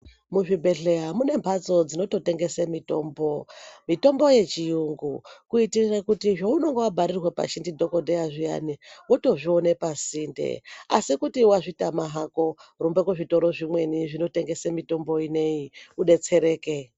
Muzvibhedhleya mune mphatso dzinototengesa mitombo, mitombo yechiyungu kuitire kuti zveunenge wabharirwe pashi ndidhokodheya zviyani wotozvione pasinde, asi kutiwazvitama hako rumbe kuzvitoro zvimweni zvinotengese mitombo inei udetsereke.